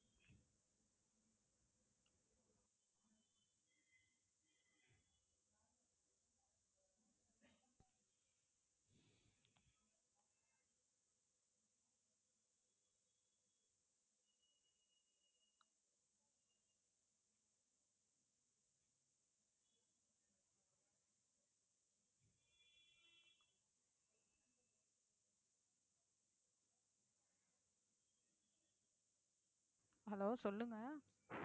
hello சொல்லுங்க